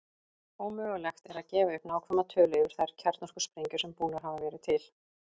Ómögulegt er að gefa upp nákvæma tölu yfir þær kjarnorkusprengjur sem búnar hafa verið til.